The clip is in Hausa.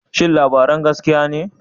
Shin labarin gaskiya ne?